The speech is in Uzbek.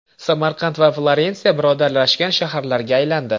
Samarqand va Florensiya birodarlashgan shaharlarga aylandi.